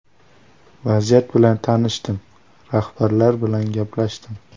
Vaziyat bilan tanishdim, rahbarlar bilan gaplashdim.